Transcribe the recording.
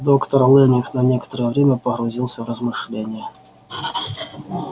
доктор лэннинг на некоторое время погрузился в размышления